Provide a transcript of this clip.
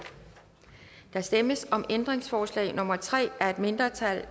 der stemmes om ændringsforslag nummer tre af et mindretal